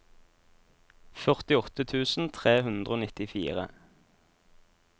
førtiåtte tusen tre hundre og nittifire